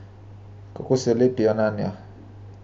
Kako se lepijo nanjo.